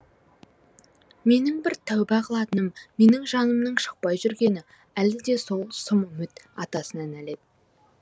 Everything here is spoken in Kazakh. менің бір тәуба қылатыным менің жанымның шықпай жүргені әлі де сол сұм үміт атасына нәлет